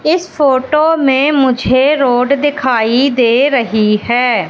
इस फोटो में मुझे रोड दिखाई दे रही है।